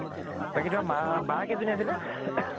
বাকী তোমাৰ মা বা কেইজনী আছিলে?